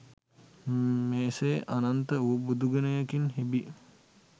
මෙසේ අනන්ත වූ බුදුගුණයකින් හෙබි